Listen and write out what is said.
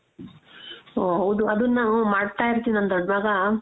ಓ ಹೌದು ಅದುನ್ನ ನಾವ್ ಮಾಡ್ತಾ ಇರ್ತೀವಿ ನನ್ ದೊಡ್ಡ್ ಮಗ